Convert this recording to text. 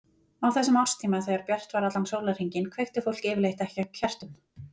Á þessum árstíma, þegar bjart var allan sólarhringinn, kveikti fólk yfirleitt ekki á kertum.